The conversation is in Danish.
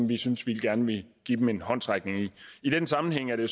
vi syntes vi gerne ville give dem en håndsrækning i den sammenhæng er det